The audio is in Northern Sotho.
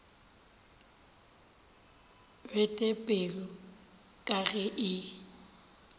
bete pelo ka ge e